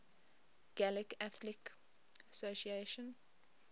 gaelic athletic association